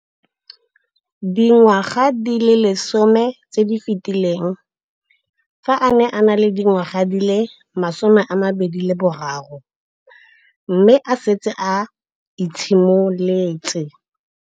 Dingwaga di le 10 tse di fetileng, fa a ne a le dingwaga di le 23 mme a setse a itshimoletse